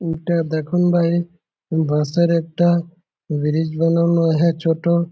উটা দেখোন বাইরে উ বাঁশের একটা ব্রিজ বানানো আহে ছোট--